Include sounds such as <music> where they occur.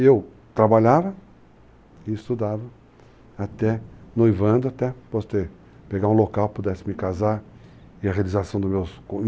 E eu trabalhava e estudava, até noivando, até poder pegar um local, pudesse me casar, e a realização do meu <unintelligible>